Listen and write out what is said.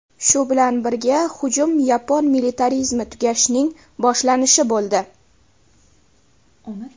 Shu bilan birga, hujum yapon militarizmi tugashining boshlanishi bo‘ldi.